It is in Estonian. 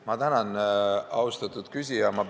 Ma tänan, austatud küsija!